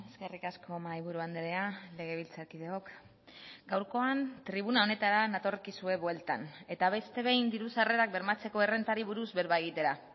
eskerrik asko mahaiburu andrea legebiltzarkideok gaurkoan tribuna honetara natorkizue bueltan eta beste behin diru sarrerak bermatzeko errentari buruz berba egitera